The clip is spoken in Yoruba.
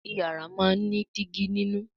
Iyàrá món ní Dígí nínú